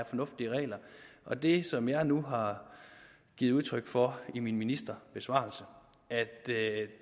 fornuftige regler og det som jeg nu har givet udtryk for i min ministerbesvarelse